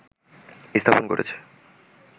স্থাপন করেছে